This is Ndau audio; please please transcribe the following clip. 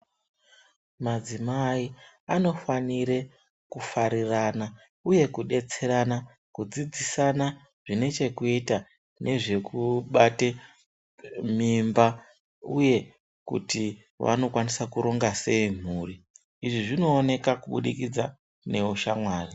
Madzimai anofanire kufarirana uye kudetserana kudzidzisana zvinechekuita nezvekubate mimba uye kuti vanokwanisa sei kuronge mhuri izvi zvinooneka kubudikidza neushamwari.